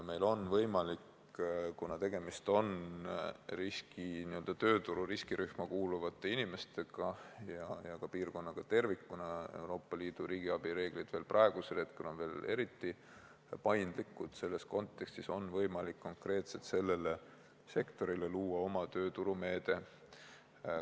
Meil on võimalik, kuna tegemist on tööturu riskirühma kuuluvate inimestega ja ka piirkonnaga tervikuna – Euroopa Liidu riigiabi reeglid on praegu veel eriti paindlikud –, selles kontekstis konkreetselt sellele sektorile luua oma tööturumeede.